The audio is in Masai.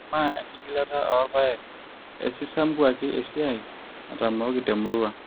maa enkigilata oorpaek osisampuake esiai natamooki temurrua